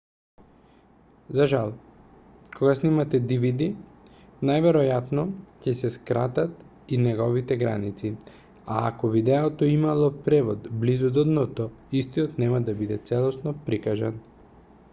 за жал кога сниматe dvd најверојатно ќе се скратат и неговите граници а ако видеото имало превод близу до дното истиот нема да биде целосно прикажан